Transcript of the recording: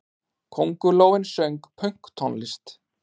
Köngulóin söng pönktónlist!